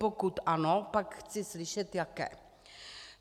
Pokud ano, pak chci slyšet jaké.